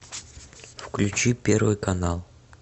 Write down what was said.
включи первый канал